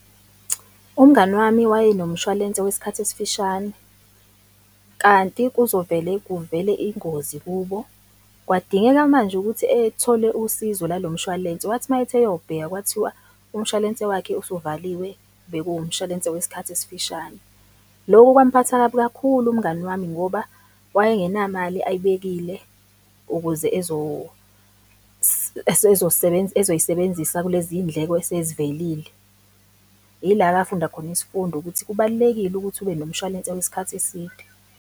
Umngani wami wayenomshwalense wesikhathi esifishane, kanti kuzovele kuvele ingozi kubo. Kwadingeka manje ukuthi ethole usizo lalo mshwalense, wathi mayethi eyobheka kwathiwa umshwalense wakhe usuvaliwe, bekuwumshwalense wesikhathi esifishane. Loku kwamphatha kabi kakhulu umngani wami ngoba wayengenamali, ayibekile ukuze ezoyisebenzisa kulezindleko esezivelile. Ila-ke afunda khona isifundo ukuthi kubalulekile ukuthi ube nomshwalense wesikhathi eside.